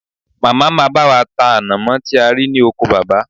Màmá máa bá wa ta ànàmọ́ tí a rí ní oko baba